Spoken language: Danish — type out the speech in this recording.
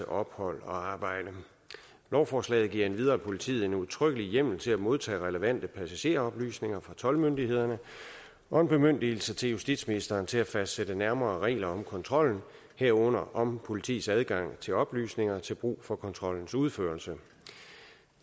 ophold og arbejde lovforslaget giver endvidere politiet en udtrykkelig hjemmel til at modtage relevante passageroplysninger fra toldmyndighederne og en bemyndigelse til justitsministeren til at fastsætte nærmere regler om kontrollen herunder om politiets adgang til oplysninger til brug for kontrollens udførelse